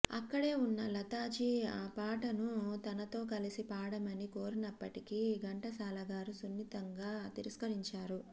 అక్కడే ఉన్న లతాజీ ఆపాటను తనతో కలిసి పాడమని కోరినప్పటికీ ఘంటసాలగారు సున్నితంగా తిరస్కరించారు